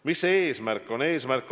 Mis see eesmärk on?